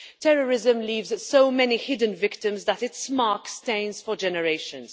Terrorism leaves so many hidden victims that its mark stains for generations.